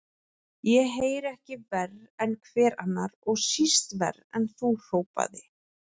Ég heyri ekki verr en hver annar, og síst verr en þú, hrópaði